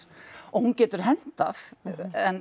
og hún getur hentað en